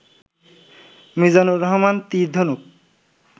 Mizanur Rahman তির-ধনুক